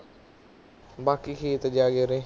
ਬਾਕੀ ਖੇਤ ਚ